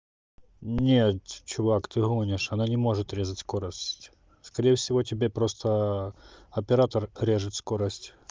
нет чувак ты гонишь она не может резать скорость скорее всего тебе просто оператор режет скорость